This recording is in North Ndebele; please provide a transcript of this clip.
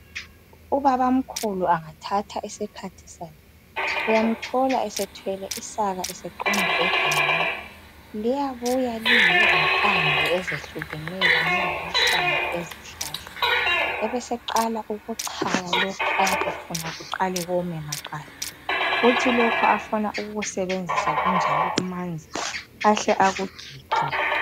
ubabamkhulu angathatha isikhathi sakhe uyamthola esethwele isaka eseqonda egangeni liyabuya lilezimpande ezehlukeneyo kunye lamahlamvu ezihlahla ebeseqala ukuchaya lokhu abe efuna kuqale kome maqala kuthi lokhu afuna ukukusebenzisa kunjalo kumanzi ahle akukhiphe